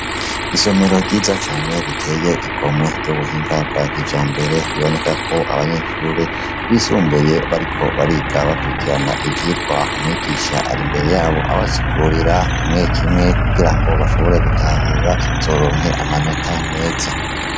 Isomera ryiza cane riteye igomwe ryubuhinga bwa kijambere bibonekako abanyeshure bisumbuye bariko bariga bakwirikirana ivyigwa umwigisha arimbere yabo abasigurira kimwe kimwe kugirango bashobore gutahura bazoronke amanota meza.